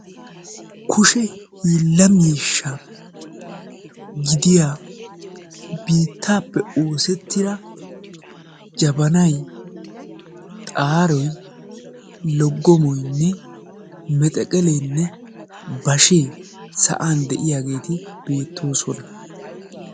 Kushe hiila miishsha gidiyaa biittaappe oosettida jabanay, xaaroy, laggomoynne, mexeqellenne bashshe sa'an de'iyaageeti beettoosona.